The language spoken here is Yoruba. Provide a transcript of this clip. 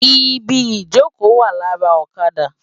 Ibi ijókö wá làrá òkàdá